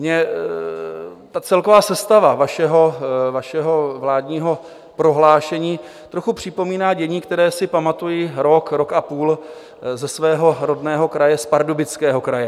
Mně ta celková sestava vašeho vládního prohlášení trochu připomíná dění, které si pamatuji rok, rok a půl ze svého rodného kraje, z Pardubického kraje.